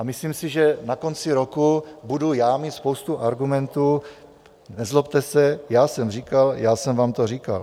A myslím si, že na konci roku budu já mít spoustu argumentů: nezlobte se, já jsem říkal, já sem vám to říkal.